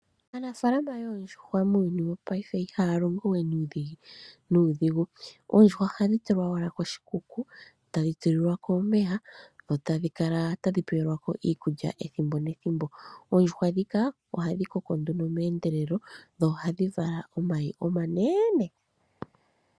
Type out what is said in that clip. Aanafalama yondjushwa muuyuni wo paife Iha longo we nuudhigu, ondjuhwa Ihadhi tulwa wala koshikuku tadhi tu lilwako omeya tadhi Kala tadhi tulikwako iikulya ethimbo nethembo, Oondjushwa dhika oha dhi Koko nduno meendelelo dho oha dhi Vala omayi omnene.